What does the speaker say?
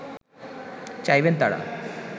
চাইবেন তারা